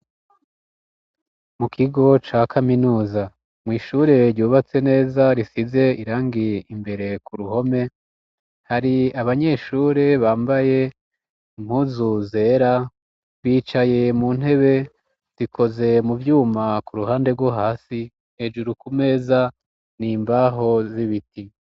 Mu kigo ca kaminuza, mw'ishure ryubatse neza, risize irangi imbere ku ruhome. Hari abanyeshure bambaye mpuzu zera, bicaye mu ntebe zikoze mu vyuma kuu ruhande rwo hasi, hejuru ku meza, ni imbaho z'ibiti.